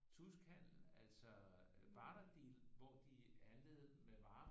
Tuskhandel altså barter deal hvor de handlede med varer